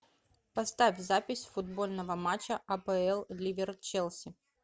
поставь запись футбольного матча апл ливер челси